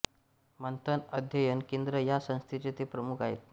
मंथन अध्ययन केंद्र या संस्थेचे ते प्रमुख आहेत